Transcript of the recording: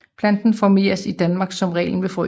Planten formeres i Danmark som regel ved frø